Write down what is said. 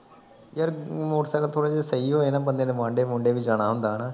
ਯਾਰ ਮੋਟਰਸਾਈਕਲ ਥੋੜ੍ਹੇ ਜਿਹੇ ਸਹੀ ਹੋਏ ਨਾ ਬੰਦੇ ਨੇ ਵਨਡੇ ਵਨੁਡਏ ਵੀ ਜਾਣਾ ਹੁੰਦਾ ਹੈਨਾ